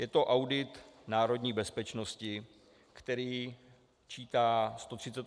Je to audit národní bezpečnosti, který čítá 138 stran textu.